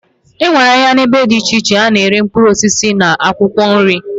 Enwere ahia na ebe di iche iche ana ere mkpuruosisi na akwokwo nri.